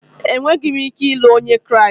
Enweghị m ike ịlụ Onye Kraịst